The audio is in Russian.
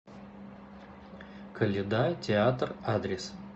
коляда театр адрес